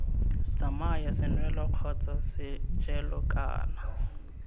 tsamaya senwelo kgotsa sejelo kana